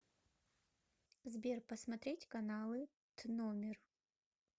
сбер посмотреть каналы тномер